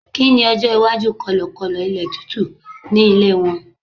kini ọjọ iwaju kọlọkọlọ ilé tútù ni ilé won